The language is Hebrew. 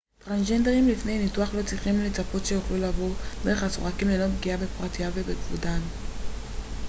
טרנסג'נדרים לפני ניתוח לא צריכים לצפות שיוכלו לעבור דרך הסורקים ללא פגיעה בפרטיותם ובכבודם